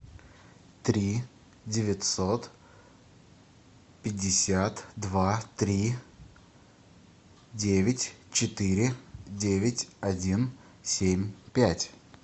три девятьсот пятьдесят два три девять четыре девять один семь пять